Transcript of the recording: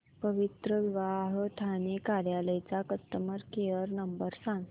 पवित्रविवाह ठाणे कार्यालय चा customer care number सांग